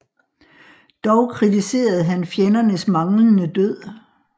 Dog kritiserede han fjendernes manglende død